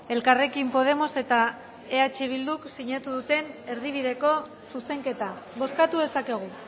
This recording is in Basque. elkarrekin podemos eta eh bilduk sinatu duten erdibideko zuzenketa bozkatu dezakegu